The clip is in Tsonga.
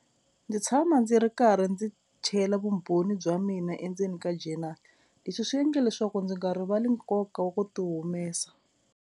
Ndzi tshama ndzi ri karhi ndzi chela vumbhoni bya mina endzeni ka journal leswi swi endla leswaku ndzi nga rivali nkoka wa ku ti humesa.